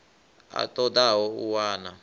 a ṱo ḓaho u wana